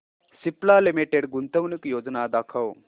Cipla limited गुंतवणूक योजना दाखव